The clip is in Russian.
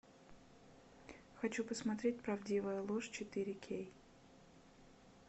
хочу посмотреть правдивая ложь четыре кей